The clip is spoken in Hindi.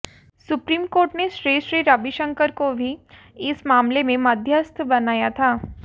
सुप्रीम कोर्ट ने श्री श्री रविशंकर को भी इस मामले में मध्यस्थ बनाया था